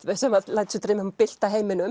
lætur sig dreyma um að bylta heiminum